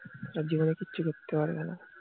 তারা জীবনে কিছু করতে পারবে না